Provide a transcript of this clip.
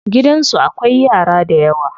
Gidansu akwai yara dayawa.